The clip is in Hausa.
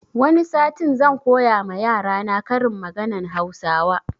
Wani satin zan koya ma yarana karin maganan hausawa